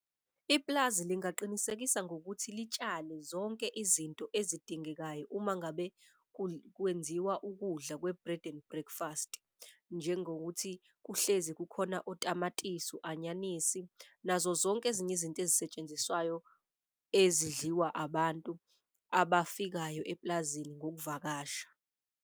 Ipulazi lingaqinisekisa ngokuthi litshale zonke izinto ezidingekayo uma ngabe kwenziwa ukudla kwe-bred and breakfast. Njengokuthi kuhlezi kukhona otamatisi, u-anyanisi nazo zonke ezinye izinto ezisetshenziswayo, ezidliwa abantu abafikayo eplazini ngokuvakasha.